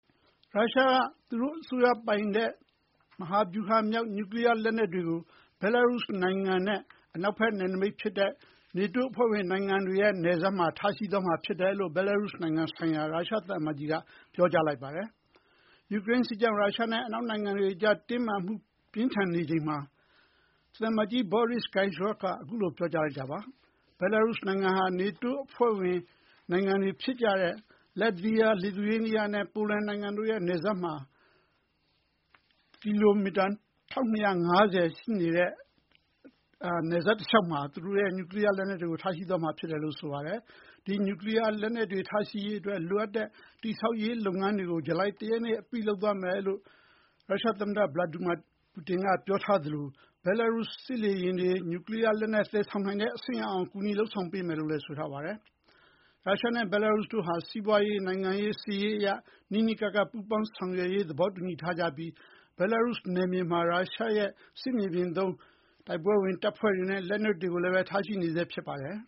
ရုရှားက သူတို့အစိုးရပိုင်တဲ့မဟာဗျူဟာမြောက် နျူကလီယားလက်နက်တွေကို ဘဲလားရုစ်နိုင်ငံနဲ့အနောက်ဘက်နယ်နိမိတ်ဖြစ်တဲ့ နေတိုးအဖွဲ့ဝင်နိုင်ငံတွေရဲ့နယ်စပ်မှာ ထားရှိသွားမှာဖြစ်တယ်လို့ ဘဲလားရုစ်နိုင်ငံဆိုင်ရာ ရုရှားသံအမတ်ကြီးက ပြောကြားလိုက်ပါတယ်။ ယူကရိန်းစစ်ကြောင့် ရုရှားနဲ့အနောက်နိုင်ငံတွေကြား တင်းမာမှုပြင်းထန်နေချိန်မှာ သံအမတ်ကြီး Boris Gryzlov က အခုလို ပြောကြားလိုက်တာပါ။ ဘဲလားရုစ်နိုင်ငံဟာ နေတိုးအဖွဲ့ဝင်နိုင်ငံတွေဖြစ်ကြတဲ့ လတ်ဗီးယား၊ လစ်သူရေးနီးယားနဲ့ ပိုလန်နိုင်ငံတို့ရဲ့နယ်စပ်မှာ ကီလိုမီတာ ၁,၂၅၀ ရှိနေတဲ့ နယ်စပ်တလျှောက်မှာ သူတို့ရဲ့နျူကလီယားလက်နက်တွေကို ထားရှိသွားမှာဖြစ်တယ်လို့ ဆိုပါတယ်။ ဒီနျူကလီယားလက်နက်တွေထားရှိရေးအတွက် လိုအပ်တဲ့တည်ဆောက်ရေးလုပ်ငန်းတွေကို ဇူလိုင်တရက်နေ့အပြီးလုပ်သွားမယ်လို့ ရုရှားသမ္မတ ဗလာတီမာ ပူတင်ကပြောထားသလို ဘဲလားရုစ်စစ်လေယာဉ်တွေ နျူကလီယားလက်နက်သယ်ဆောင်နိုင်တဲ့အဆင့်အရောက်အောင် ကူညီလုပ်ဆောင်ပေးမယ်လို့လည်း ဆိုပါတယ်။ ရုရှားနဲ့ဘဲလားရုစ်တို့ဟာ စီးပွါးရေး၊ နိုင်ငံရေး၊ စစ်ရေးအရ နီးနီးကပ်ကပ် ပူးပေါင်းဆောင်ရွက်ရေးသဘောတူညီထားကြပြီး ဘဲလားရုစ်နယ်မြေမှာ ရုရှားရဲ့စစ်မြေပြင်သုံး တိုက်ပွဲဝင်တပ်ဖွဲ့တွေနဲ့ လက်နက်တွေကိုလည်းပဲ ထားရှိနေဆဲဖြစ်ပါတယ်